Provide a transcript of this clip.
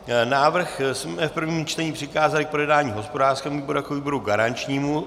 Návrh jsme v prvním čtení přikázali k projednání hospodářskému výboru jako výboru garančnímu.